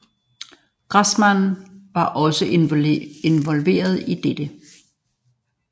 Grassmann var også involveret i dette